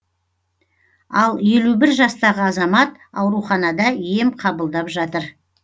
ал елу бір жастағы азамат ауруханада ем қабылдап жатыр